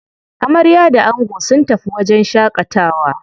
Amarya da ango sun tafi wajen shaƙatawa.